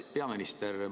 Hea peaminister!